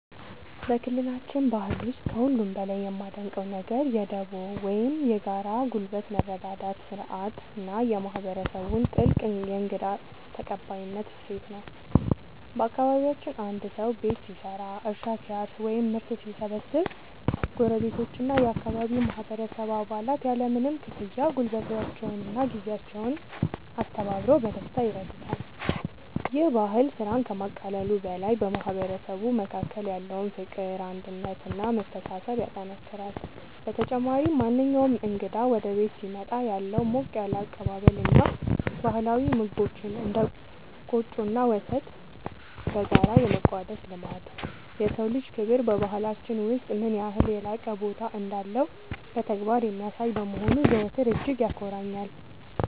በክልላችን ባህል ውስጥ ከሁሉ በላይ የማደንቀው ነገር የ"ዱቦ" (Dubo) ወይም የጋራ ጉልበት መረዳዳት ሥርዓት እና የማህበረሰቡን ጥልቅ የእንግዳ ተቀባይነት እሴት ነው። በአካባቢያችን አንድ ሰው ቤት ሲሰራ፣ እርሻ ሲያርስ ወይም ምርት ሲሰበስብ ጎረቤቶችና የአካባቢው ማህበረሰብ አባላት ያለምንም ክፍያ ጉልበታቸውንና ጊዜያቸውን አስተባብረው በደስታ ይረዱታል። ይህ ባህል ስራን ከማቃለሉ በላይ በማህበረሰቡ መካከል ያለውን ፍቅር፣ አንድነት እና መተሳሰብ ያጠናክራል። በተጨማሪም፣ ማንኛውም እንግዳ ወደ ቤት ሲመጣ ያለው ሞቅ ያለ አቀባበል እና ባህላዊ ምግቦችን (እንደ ቆጮ እና ወተት) በጋራ የመቋደስ ልማድ፣ የሰው ልጅ ክብር በባህላችን ውስጥ ምን ያህል የላቀ ቦታ እንዳለው በተግባር የሚያሳይ በመሆኑ ዘወትር እጅግ ያኮራኛል።